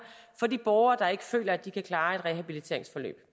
for de borgere der ikke føler at de kan klare et rehabiliteringsforløb